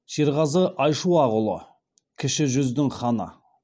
шерғазы айшуақұлы кіші жүздің ханы